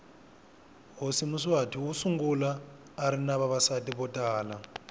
hhosi mswati wosungula arinavavasati votala